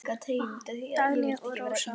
Dagný og Rósa.